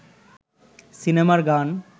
সিনেমার গান